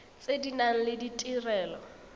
tse di nang le ditirelo